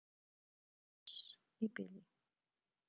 Bless í bili.